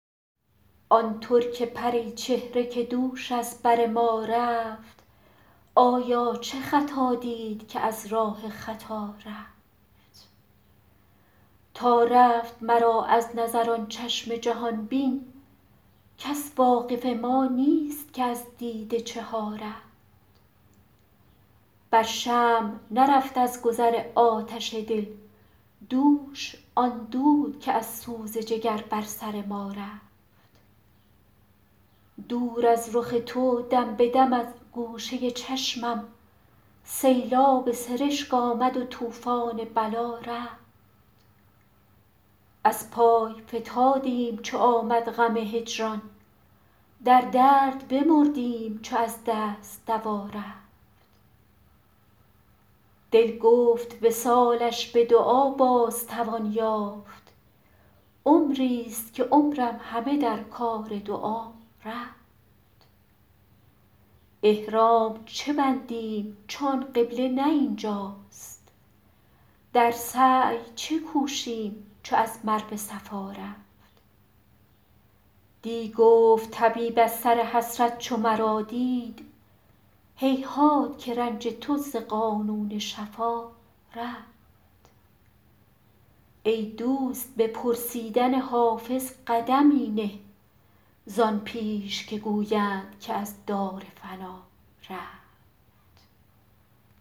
آن ترک پری چهره که دوش از بر ما رفت آیا چه خطا دید که از راه خطا رفت تا رفت مرا از نظر آن چشم جهان بین کس واقف ما نیست که از دیده چه ها رفت بر شمع نرفت از گذر آتش دل دوش آن دود که از سوز جگر بر سر ما رفت دور از رخ تو دم به دم از گوشه چشمم سیلاب سرشک آمد و طوفان بلا رفت از پای فتادیم چو آمد غم هجران در درد بمردیم چو از دست دوا رفت دل گفت وصالش به دعا باز توان یافت عمریست که عمرم همه در کار دعا رفت احرام چه بندیم چو آن قبله نه این جاست در سعی چه کوشیم چو از مروه صفا رفت دی گفت طبیب از سر حسرت چو مرا دید هیهات که رنج تو ز قانون شفا رفت ای دوست به پرسیدن حافظ قدمی نه زان پیش که گویند که از دار فنا رفت